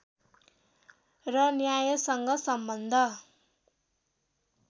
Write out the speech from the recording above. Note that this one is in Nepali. र न्यायसँग सम्बन्ध